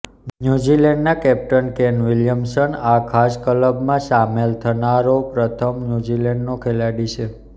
ન્યૂઝીલેન્ડના captain Kane Williamson આ ખાસ ક્લબમાં સામેલ થનારો પ્રથમ ન્યૂઝીલેન્ડનો ખેલાડી છે